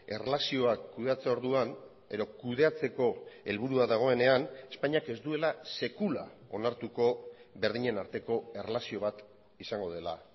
erlazioak kudeatze orduan edo kudeatzeko helburua dagoenean espainiak ez duela sekula onartuko berdinen arteko erlazio bat izango dela